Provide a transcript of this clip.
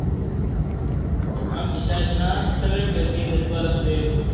आमच्या शाळेत ना, सगळे खेळ खेळतात गोळाफेक.